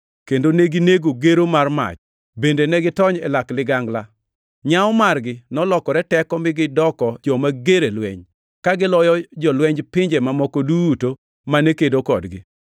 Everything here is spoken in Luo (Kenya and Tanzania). kendo neginego gero mar mach; bende negitony e lak ligangla. Nyawo margi nolokore teko mi gidoko joma ger e lweny, ka giloyo jolwenj pinje mamoko duto mane kedo kodgi.